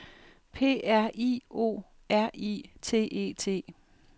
P R I O R I T E T